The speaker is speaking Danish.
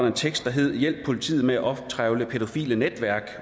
en tekst der hed hjælp politiet med at optrevle pædofile netværk